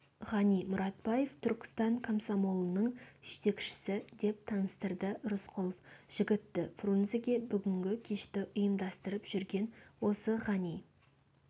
ғани мұратбаев түркістан комсомолының жетекшісі деп таныстырды рысқұлов жігітті фрунзеге бүгінгі кешті ұйымдастырып жүрген осы ғани